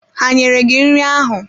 Ha nyere gị nri ahụ?